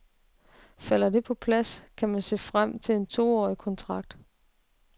Falder det på plads, kan han se frem til en toårig kontrakt.